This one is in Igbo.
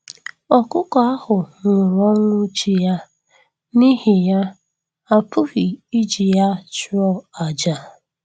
Ọkụkọ ahụ nwụrụ ọnwụ chi ya, n'ihi ya, a pụghị iji ya chụọ àjà.